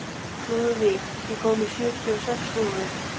Lúðvíg, ég kom með sjötíu og sex húfur!